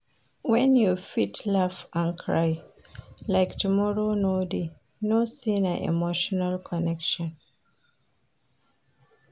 Wen you fit laugh and cry like tomorrow no dey, know sey na emotional connection.